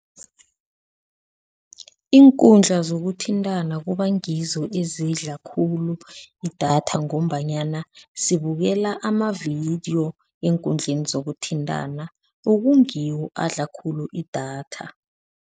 Iinkundla zokuthintana kuba ngizo ezidla khulu idatha ngombanyana sibukela amavidiyo eenkundleni zokuthintana okungiwo adla khulu idatha.